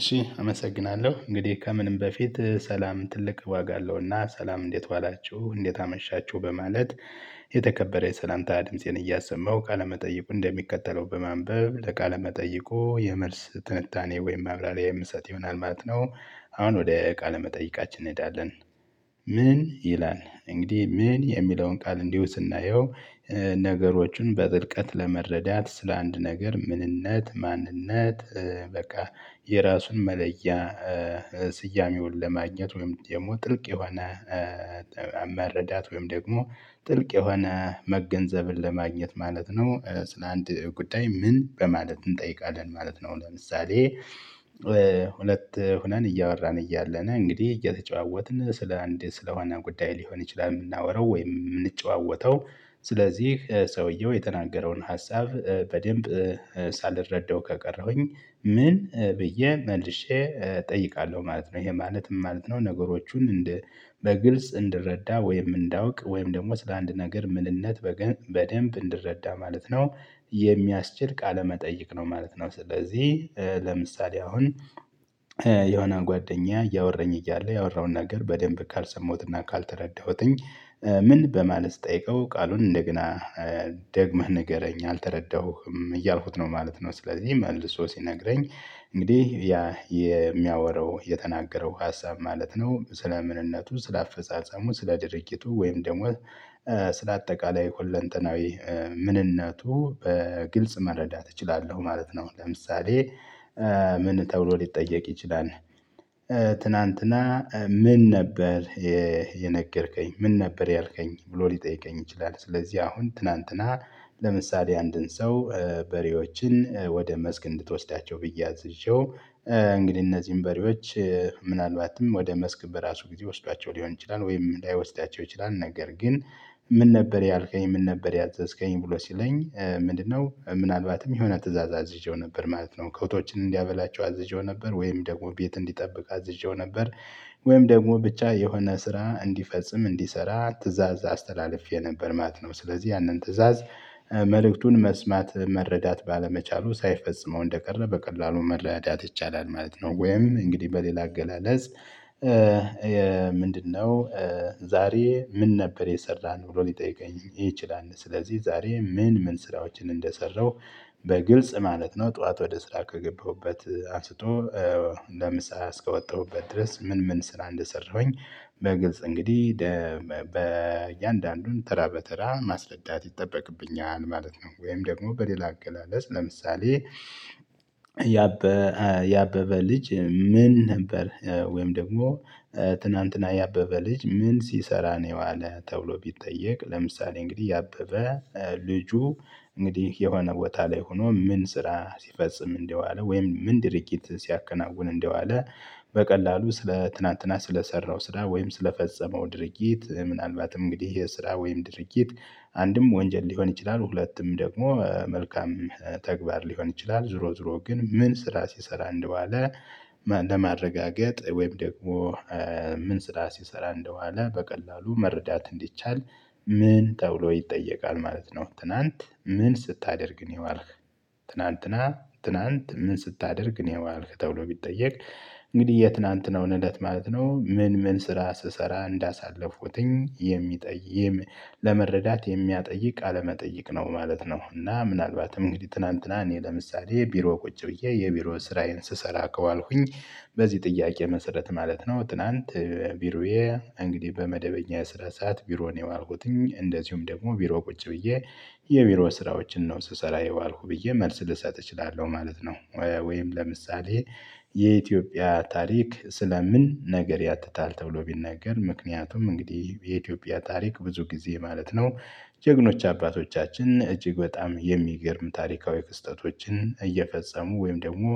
እሺ አመሰግናለሁ፣ እንግዲህ ከምንም በፊት ሰላም ትልቅ ዋጋ አለውና ሰላም እንዴት ዋላችሁ እንዴት አመሻችሁ በማለት የተከበረ የሰላምታ ድምፄን እያሰማሁ ቃለመጠይቁን እንደሚከተለው በማንበብ ለቃለመጠይቁ መጠይቁ የመልስ ትንታኔ ወይም ማብራሪያ የምሰጥ ይሆናል ማለት ነው። አሁን ወደ ቃለ መጠይቃችን እንሄዳለን። "ምን" ይላል፣ እንግዲህ "ምን" የሚለውን ቃል እንዲሁ ስናየው ነገሮችን በጥልቀት ለመረዳት ስለአንድ ነገር ምንነት ማንነት በቃ የራሱን መለያ ስያሜውን ለማግኘት ወይም ደግሞ ጥልቅ የሆነ መረዳት ወይም ደግሞ ጥልቅ የሆነ መገንዘብን ለማግኘት ማለት ነው ስለ አንድ ጉዳይ "ምን?" በማለት እንጠይቃለን ማለት ነው። ለምሳሌ ሁለት ሁነን እያወራን እያለን እንግዲህ እየተጨዋወትን ስለ አንድ ስለ ሆነ ጉዳይ ሊሆን ይችላል የምናወራው ወይም የምንጨዋወተው ስለዚህ ሰውየው የተናገረውን ሀሳብ በደንብ ሳልረዳው ከቀረሁኝ "ምን?" ብዬ መልሼ እጠይቃለሁ ማለት ነው። ይሄ ማለት ምን ማለት ነው ነገሮቹን እንደ በግልጽ እንድረዳ ወይም እንዳውቅ ወይም ደግሞ ስለ አንድ ነገር ምንነት በገ በደንብ እንድረዳ ማለት ነው የሚያስችል ቃለመጠይቅ ነው ማለት ነው። ስለዚህ ለምሳሌ አሁን የሆነ ጓደኛ እያወራኝ እያለ ያወራውን ነገር በደንብ ካልሰማሁትና ካልተረዳሁትኝ "ምን?" በማለት ስጠይቀው ቃሉን እንደገና ደግመህ ንገረኝ፣ አልተረዳሁህም እያልኩት ነው ማለት ነው። ስለዚህ መልሶ ሲነግረኝ እንግዲህ ያ የሚያወራው የተናገረው ሀሳብ ማለት ነው ስለ ምንነቱ ስለ አፈጻጸሙ ስለ ድርጅቱ ወይም ደግሞ ስለ አጠቃላይ ሁለንተናዊ ምንነቱ በግልጽ መረዳት እችላለሁ ማለት ነው። ለምሳሌ ምን ተብሎ ሊጠየቅ ይችላል፣ "ትናንትና ምን ነበር የነገርከኝ? ምን ነበር ያልከኝ?" ብሎ ሊጠይቀኝ ይችላል። ስለዚህ አሁን ትናንትና ለምሳሌ አንድን ሰው በሬዎችን ወደ መስክ እንድትወስዳቸው ብዬ አዝዤው እንግዲህ እነዚህን በሬዎች ምናልባትም ወደ መስክ በራሱ ጊዜ ወስዷቸው ሊሆን ይችላል፤ ወይም ላይወስዳቸው ይችላል፤ ነገር ግን "ምን ነበር ያልከኝ? ምን ነበር ያዘዝከኝ?" ብሎ ሲለኝ ምንድነው ምናልባትም የሆነ ትእዛዝ አዝዤው ነበር ማለት ነው። ከብቶችን እንዲያበላቸው አዝዤው ነበር፣ ወይም ደግሞ ቤት እንዲጠብቅ አዝዤው ነበር፣ ወይም ደግሞ ብቻ የሆነ ስራ እንዲፈጽም እንዲሰራ ትእዛዝ አስተላልፌ ነበር ማለት ነው። ስለዚህ ያንን ትእዛዝ መልእክቱን መስማት መረዳት ባለመቻሉ ሳይፈጽመው እንደቀረ በቀላሉ መረዳት ይቻላል ማለት ነው። ወይም እንግዲህ በሌላ አገላለጽ "ምንድነው ዛሬ ምን ነበር የሰራን?" ብሎ ሊጠይቀኝ ይችላል። ስለዚህ ዛሬ ምን ምን ስራዎችን እንደሰራሁ በግልጽ ማለት ነው ጠዋት ወደ ስራ ከገባሁበት አንስቶ ለምሳ እስከወጣሁበት ድረስ ምን ምን ስራ እንደሰራሁኝ በግልጽ እንግዲህ በእያንዳንዱን ተራ በተራ ማስረዳት ይጠበቅብኛል ማለት ነው። ወይም ደግሞ በሌላ አገላለጽ ለምሳሌ "የአበበ ልጅ ምን ነበር" ወይም ደግሞ "ትናንትና የአበበ ልጅ ምን ሲሰራ ነው የዋለ?" ተብሎ ቢጠየቅ ለምሳሌ እንግዲህ የአበበ ልጁ እንግዲህ የሆነ ቦታ ላይ ሆኖ ምን ስራ ሲፈጽም እንደዋለ ወይም ምን ድርጊት ሲያከናውን እንደዋለ በቀላሉ ስለ ትናንትና ስለሰራው ስራ ወይም ስለፈጸመው ድርጊት ምናልባትም እንግዲህ ይህ ስራ ወይም ድርጊት አንድም ወንጀል ሊሆን ይችላል፤ ሁለትም ደግሞ መልካም ተግባር ሊሆን ይችላል። ዙሮ ዙሮ ግን ምን ስራ ሲሰራ እንደዋለ ለማረጋገጥ ወይም ደግሞ ምን ስራ ሲሰራ እንደዋለ በቀላሉ መረዳት እንዲቻል "ምን?" ተብሎ ይጠየቃል ማለት ነው። ትላንት "ምን ስታደርግ ነው የዋልክ?" "ትላንትና ትላንት ምን ስታደርግ ነው የዋልክ?" ተብሎ ቢጠየቅ እንግዲህ የትናንትናውን እለት ማለት ነው ምን ምን ስራ ስሰራ እንዳሳለፍኩትኝ የሚጠይም ለመረዳት የሚያጠይቅ ቃለ መጠይቅ ነው ማለት ነው፤ እና ምናልባትም እንግዲህ ትናንትና እኔ ለምሳሌ ቢሮ ቁጭ ብዬ የቢሮ ስራዬን ስሰራ ከዋልኩኝ በዚህ ጥያቄ መሰረት ማለት ነው ትላንት ቢሮዬ እንግዲህ በመደበኛ የስራ ሰዓት ቢሮ ነው የዋልኩትኝ፤ እንደዚሁም ደግሞ ቢሮ ቁጭ ብዬ የቢሮ ስራዎችን ነው ስሰራ የዋልኩ ብዬ መልስ ልሰጥ እችላለሁ ማለት ነው። ወይም ለምሳሌ "የኢትዮጵያ ታሪክ ስለምን ነገር ያትታል?" ተብሎ ቢነገር ምክንያቱም እንግዲህ የኢትዮጵያ ታሪክ ብዙ ጊዜ ማለት ነው ጀግኖች አባቶቻችን እጅግ በጣም የሚገርም ታሪካዊ ክስተቶችን እየፈጸሙ ወይም ደግሞ